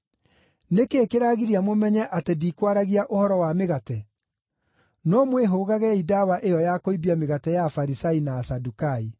Nĩ kĩĩ kĩragiria mũmenye atĩ ndikwaragia ũhoro wa mĩgate? No mwĩhũgagei ndawa ĩyo ya kũimbia mĩgate ya Afarisai na Asadukai.”